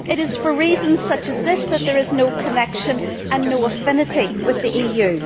It is for reasons such as this that there is no connection and no affinity with the EU.